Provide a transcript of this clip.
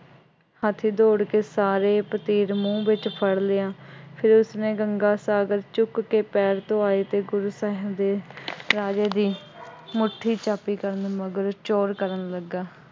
ਹਾਥੀ ਦੌੜ ਕੇ ਸਾਰੇ ਪਤੀਲ ਮੂੰਹ ਵਿੱਚ ਫੜ੍ਹ ਲਿਆ। ਫਿਰ ਉਸਨੇ ਗੰਗਾ ਸਾਗਰ ਚੁੱਕ ਕੇ ਪੈਰ ਧੁਆਏ ਅਤੇ ਗੁਰੂ ਸਾਹਿਬ ਦੇ ਰਾਜੇ ਦੀ ਮੁੱਠੀ ਚਾਬੀ ਕਰਨ ਮਗਰੋਂ ਚੋੜ੍ਹ ਕਰਨ ਲੱਗਾ।